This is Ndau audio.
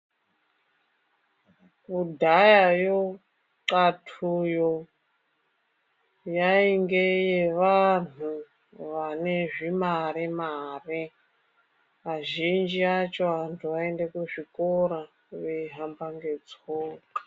Kudhayayo qatuyo yainge yevantu vane zvimare mare azhinji acho antu aiende kuzvikora eihamba ngetsoka.